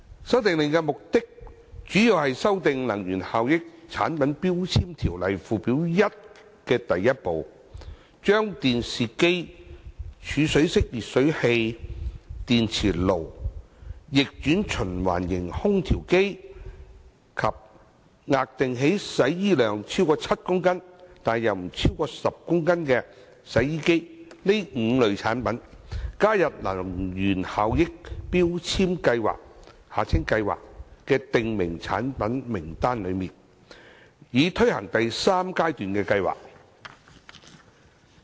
《修訂令》的目的，主要是修訂《能源效益條例》附表1第1部，把電視機、儲水式電熱水器、電磁爐、逆轉循環型空調機及額定洗衣量超過7公斤但不超過10公斤的洗衣機這5類產品，加入強制性能源效益標籤計劃的訂明產品名單，以推行第三階段計劃。